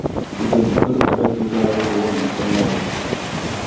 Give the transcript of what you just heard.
Bugun tur uchrashuvlari davom ettiriladi.